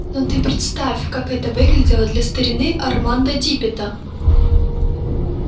но ты представь как это выглядело для старины армандо диппета